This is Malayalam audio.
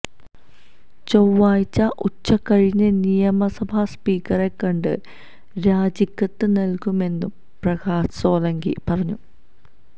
ചൊവ്വാഴ്ച ഉച്ചകഴിഞ്ഞ് നിയമസഭാ സ്പീക്കറെ കണ്ട് രാജിക്കത്ത് നല്കുമെന്നും പ്രകാശ് സോളങ്കി പറഞ്ഞു